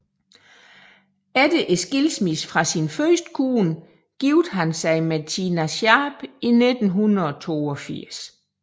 Efter skilsmisse fra sin første kone giftede han sig med Tina Sharp i 1982